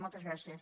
moltes gràcies